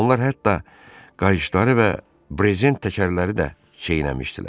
Onlar hətta qayışları və breznt təkərləri də çeynəmişdilər.